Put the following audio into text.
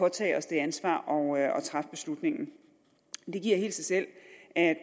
at tage det ansvar og træffe beslutningen det giver sig selv at